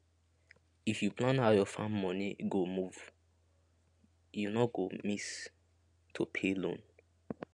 if you plan how your farm money go move you no go miss to pay loan